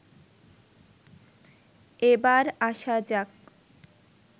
এবার আসা যাক